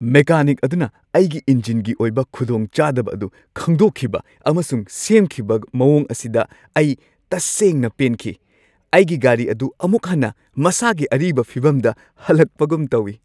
Mechanic ꯑꯣꯢꯕ ꯑꯩꯒꯤ ꯏꯟꯖꯤꯟꯒꯤ ꯑꯔꯨꯕ ꯈꯨꯗꯣꯡꯆꯥꯗꯕ ꯑꯗꯨ ꯈꯪꯗꯣꯛꯈꯤꯕ ꯑꯃꯁꯨꯡ ꯁꯦꯝꯈꯤꯕ ꯃꯑꯣꯡ ꯑꯁꯤꯗ ꯑꯩ ꯇꯁꯦꯡꯅ ꯄꯦꯟꯈꯤ; ꯑꯩꯒꯤ ꯒꯥꯔꯤ ꯑꯗꯨ ꯑꯃꯨꯛ ꯍꯟꯅ ꯃꯁꯥꯒꯤ ꯑꯔꯤꯕ ꯐꯤꯚꯝꯗ ꯍꯜꯂꯛꯄꯒꯨꯝ ꯇꯧꯋꯤ ꯫